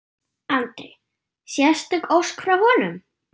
Andri: Sérstök ósk frá honum?